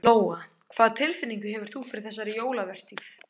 Lóa: Hvað tilfinningu hefur þú fyrir þessari jólavertíð?